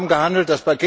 Wir haben gehandelt.